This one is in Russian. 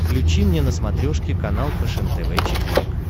включи мне на смотрешке канал фэшен тв четыре к